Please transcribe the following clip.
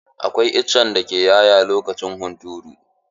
Akwai itacen lemo dake 'ya'ya lokacin hunturu.